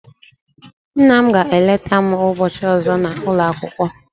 Nna m ga eleta m ubochi ozo na ulo akwukwo